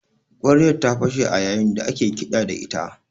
Ƙwaryar ta fashe a yayin da ake kiɗa da ita